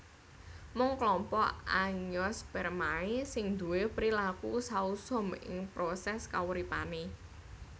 Mung klompok Angiospermae sing duwé prilaku sausum ing prosès kauripané